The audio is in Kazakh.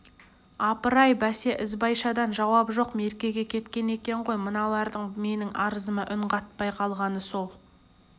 апыр-ай бәсе ізбайшадан жауап жоқ меркеге кеткен екен ғой мыналардың менің арызыма үн қатпай қалғаны сол